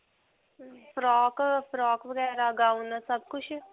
frock, frock ਵਗੈਰਾ gown ਸਭ ਕੁਝ?